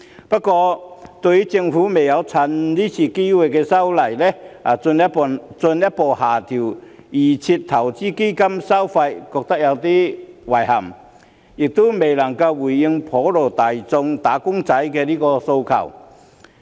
不過，對於政府未有藉今次修例的機會，進一步下調預設投資策略成分基金的收費，我感到有點遺憾，這亦未能回應普羅"打工仔"的訴求。